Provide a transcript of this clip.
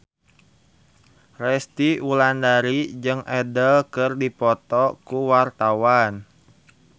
Resty Wulandari jeung Adele keur dipoto ku wartawan